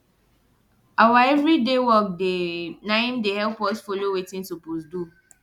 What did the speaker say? awa everyday work dey na im dey help us follow wetin sopose do